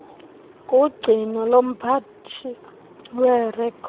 kugcino lomphathi weerekhodi